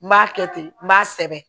N b'a kɛ ten n b'a sɛbɛn